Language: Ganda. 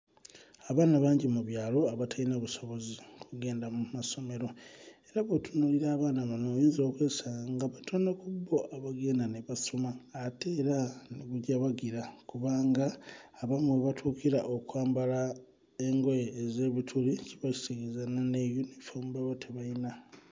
Abaana bangi mu byalo abatalina busobozi kugenda mu masomero, era bw'otunuulira abaana bano oyinza okwesanga nga batono ku bo abagenda ne basoma ate era ne gujabagira kubanga abamu we batuukira okwambala n'engoye ez'ebituli kiba kitegezza olwensonga ne yunifoomu baba tebayina.